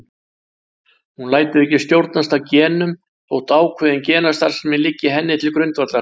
Hún lætur ekki stjórnast af genum þótt ákveðin genastarfsemi liggi henni til grundvallar.